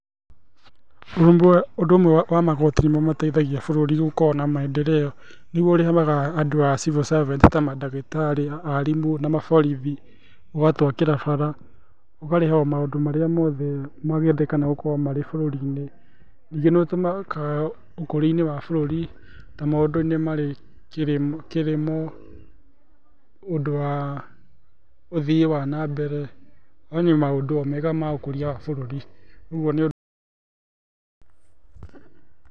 Ũndũ ũmwe wa magoti nĩ mo mateithagia bũrũri gũkorwo na maendeleo. Niguo ũrĩhaga andũ a civil servants ta mandagĩtarĩ, arimũ na maborithi, ũgatwakĩra bara ũkarĩha o maundũ marĩa mothe mangĩendekana gũkorwo marĩ bũrũri-inĩ. Ningĩ ni ũtũmikaga ũkũria-inĩ wa bũrũri ta maũndũ-inĩ marĩ kĩrĩmo, ũndũ wa ũthii wa na mbere one maũndũ o mega ma gũkũria bũrũri. Ũguo nĩ.